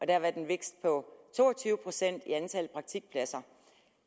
der været en vækst på to og tyve procent i antal praktikpladser